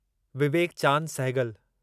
Vivek Chand Sehgal